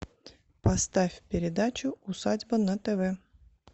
поставь передачу усадьба на тв